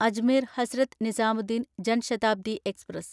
Ajmer Hazrat Nizamuddin Jan Shatabdi express